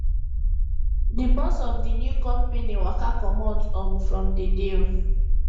the boss of the new company waka comot um from the deal